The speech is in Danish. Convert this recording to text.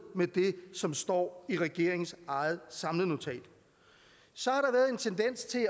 med det som står i regeringens eget samlenotat så